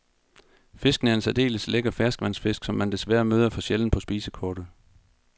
Fisken er en særdeles lækker ferskvandsfisk, som man desværre møder for sjældent på spisekortet.